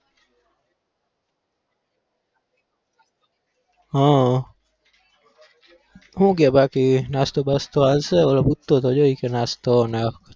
હા હુ કેય બાકી નાસ્તો બાસ્તો આલશે નાશ્તો લાયો.